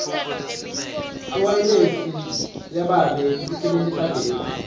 iwayilesi yababe isebentisa gesi